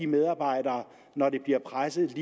medarbejderne når de bliver presset